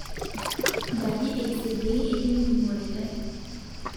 Nkaji eiset dei etii ndungoretai